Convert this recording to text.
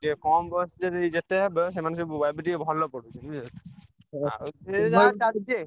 ଯେ କମ୍ ବୟସ ଯଦି ଯେତେ ହେବେ ସେମାନେ ସବୁ ଏବେ ଟିକେ ଭଲ ପଢଉଚନ୍ତି ବୁଝି ହେଲା